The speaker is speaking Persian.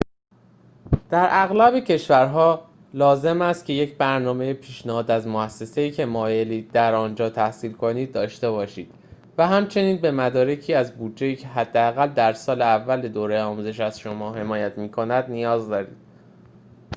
در اغلب کشورها لازم است که یک نامه پیشنهاد از موسسه‌ای که مایلید در آنجا تحصیل کنید داشته باشید و همچنین به مدارکی از بودجه‌ای که حداقل در سال اول دوره آموزش از شما حمایت می‌کند نیاز دارید